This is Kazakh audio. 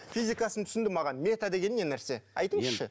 физикасын түсіндім аға мета деген не нәрсе айтыңызшы